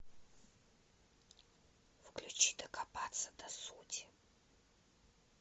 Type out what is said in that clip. включи докопаться до сути